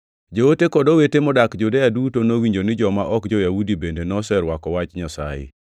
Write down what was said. Joote kod owete modak Judea duto nowinjo ni joma ok jo-Yahudi bende noserwako Wach Nyasaye.